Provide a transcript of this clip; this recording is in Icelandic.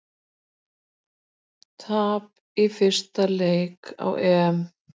Tap í fyrsta leik á EM